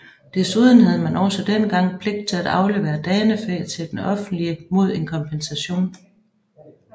Desuden havde man også dengang pligt til at aflevere Danefæ til den offentlige mod en kompensation